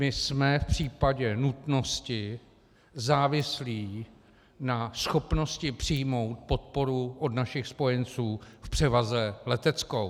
My jsme v případě nutnosti závislí na schopnosti přijmout podporu od našich spojenců v převaze leteckou.